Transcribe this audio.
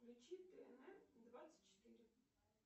включи тнр двадцать четыре